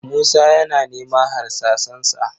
Musa yana neman harsasansa